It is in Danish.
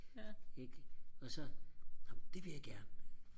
ikke og så ej men det vil jeg gerne